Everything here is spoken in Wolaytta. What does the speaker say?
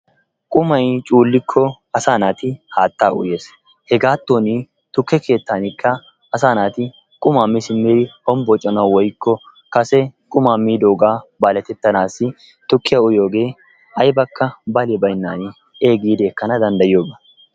Qumay cuullikko asaa naati haattaa uyees. Hegaattoni tukke keettaanikka asaa naati qumaa mi simmidi hombbocanawu woykko kase qumaa miidoogaa baletettanaassi tukkiya uyiyogee aybikka bali baynnaani ee giidi ekkanawu danddayiyoba.